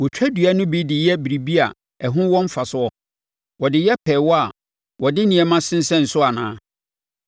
Wɔtwa dua no bi de yɛ biribi a ɛho wɔ mfasoɔ? Wɔde yɛ pɛɛwa a wɔde nneɛma sensɛn soɔ anaa?